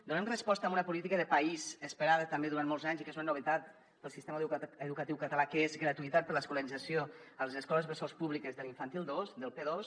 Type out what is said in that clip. donem resposta a una política de país esperada també durant molts anys i que és una novetat per al sistema educatiu català que és gratuïtat per a l’escolarització a les escoles bressol públiques de l’infantil dos del p dos